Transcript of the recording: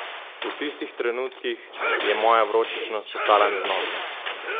V tistih trenutkih je moja vročičnost postala neznosna!